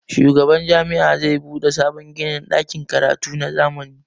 shugaban Jami'a za bude sabon ginin dakin karatu na zamani